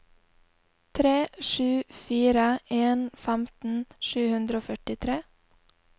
tre sju fire en femten sju hundre og førtitre